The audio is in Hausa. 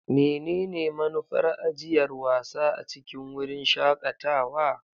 Menene manufar ajiyar wasa a cikin wurin shakatawa?